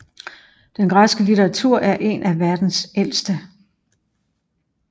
Den græske litteratur er en af verdens ældste